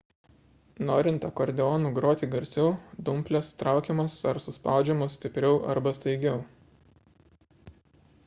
norint akordeonu groti garsiau dumplės traukiamos ar suspaudžiamos stipriau arba staigiau